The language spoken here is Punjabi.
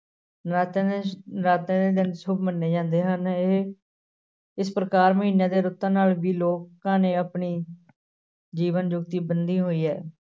ਨਰਾਤਿਆਂ ਦੇ ਨਰਾਤਿਆਂ ਦੇ ਦਿਨ ਸੁੱਭ ਮੰਨੇ ਜਾਂਦੇ ਹਨ ਇਹ ਇਸ ਪ੍ਰਕਾਰ ਮਹੀਨਿਆਂ ਤੇ ਰੁੱਤਾਂ ਨਾਲ ਵੀ ਲੋਕਾਂ ਨੇ ਆਪਣੀ ਜੀਵਨ ਜੁਗਤੀ ਬੰਨੀ ਹੋਈ ਹੈ।